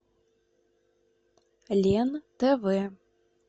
лен тв